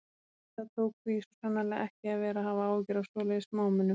En það tók því svo sannarlega ekki að vera að hafa áhyggjur af svoleiðis smámunum.